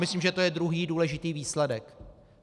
Myslím, že to je druhý důležitý výsledek.